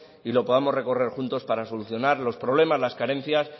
y lo podamos recorrer juntos para solucionar los problemas las carencias